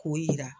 K'o jira